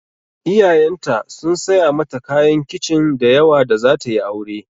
Iyayenta sun saya mata kayan kicin da yawa da zata yi aure.